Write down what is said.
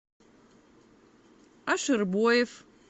аширбоев